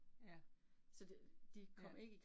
Ja. Ja